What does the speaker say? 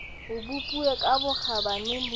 o bopilweng ka bokgabane le